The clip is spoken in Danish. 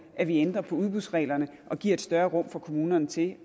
at vi ændrer udbudsreglerne og giver et større rum for kommunerne til